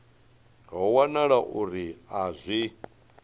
ho wanala uri a zwi